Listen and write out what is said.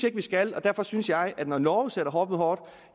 ikke vi skal og derfor synes jeg at når norge sætter hårdt mod hårdt